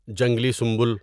جنگلی سنبل